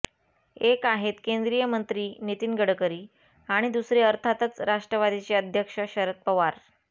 एक आहेत केंद्रीय मंत्री नितीन गडकरी आणि दुसरे अर्थातच राष्ट्रवादीचे अध्यक्ष शरद पवार